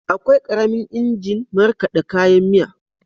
Akwai ƙaramin injin markaɗa kayan miya.